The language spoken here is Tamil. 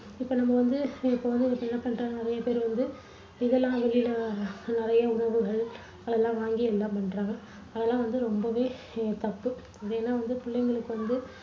இப்போ நம்ம வந்து இப்போ வந்து என்ன பண்றாங்க நிறைய பேர் வந்து இதெல்லாம் வெளியில நிறைய உணவுகள் அதெல்லாம் வாங்கி எல்லாம் பண்றாங்க. அதெல்லாம் வந்து ரொம்பவே தப்பு. இதை எல்லாம் வந்து புள்ளைங்களுக்கு வந்து